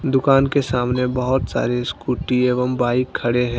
दुकान के सामने बहुत सारे स्कूटी एवं बाइक खड़े हैं।